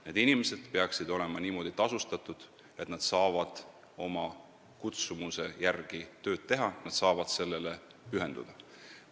Need inimesed peaksid olema niimoodi tasustatud, et nad saaksid oma kutsumuse järgi tööd teha, nad saaksid sellele pühenduda.